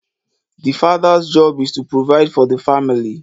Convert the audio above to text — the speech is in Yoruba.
The father's job is to provide for the family